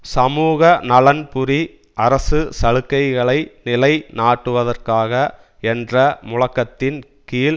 சமூகநலன்புரி அரசு சலுக்கைகளை நிலை நாட்டுவதற்காக என்ற முழக்கத்தின் கீழ்